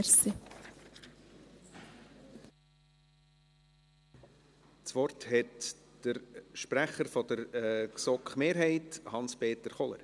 Das Wort hat der Sprecher der GSoK-Mehrheit, Hans-Peter Kohler.